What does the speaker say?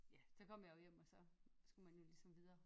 Ja så kom jeg jo hjem og så skulle man og ligesom videre